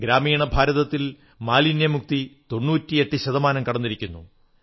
ഗ്രാമീണ ഭാരതത്തിൽ മാലിന്യമുക്തി 98 ശതമാനം കടന്നിരിക്കുന്നു